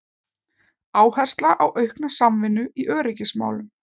Áhersla á aukna samvinnu í öryggismálum